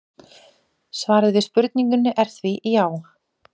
svarið við spurningunni er því já!